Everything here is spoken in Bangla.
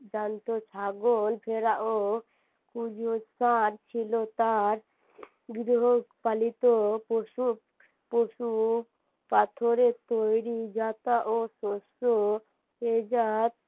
জ্যান্ত ছাগল ভেড়া ও ছিল তার গৃহপালিত পশু পশু পাথরের তৈরী যাতা ও শস্য